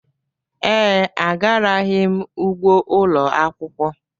Ee, agaraghị m ugbo ụlọ akwụkwọ.